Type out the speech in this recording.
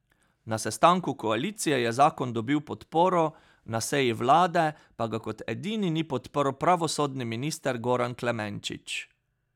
Na sestanku koalicije je zakon dobil podporo, na seji vlade pa ga kot edini ni podprl pravosodni minister Goran Klemenčič.